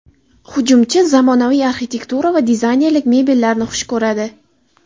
Hujumchi zamonaviy arxitektura va dizaynerlik mebellarini xush ko‘radi.